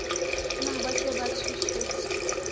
na ba se ba thusitswe